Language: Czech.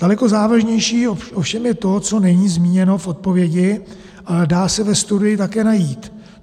Daleko závažnější ovšem je to, co není zmíněno v odpovědi, ale dá se ve studii také najít.